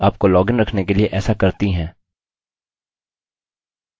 अधिकतर बेवसाइट्स आपको लॉगइन रखने के लिए ऐसा करती हैं